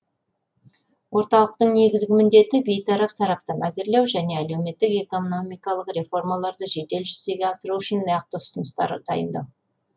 орталықтың негізгі міндеті бейтарап сараптама әзірлеу және әлеуметтік экономикалық реформаларды жедел жүзеге асыру үшін нақты ұсыныстар дайындау